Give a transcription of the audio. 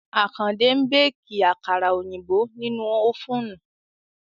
Àkàndé ń béèkì àkàrà òyìnbó nínú ófùnù